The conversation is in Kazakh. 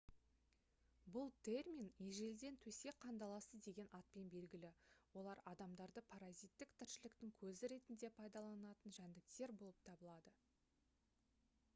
бұл термин ежелден төсек қандаласы деген атпен белгілі олар адамдарды паразиттік тіршіліктің көзі ретінде пайдаланатын жәндіктер болып табылады